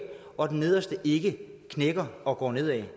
og at den nederste ikke knækker og går nedad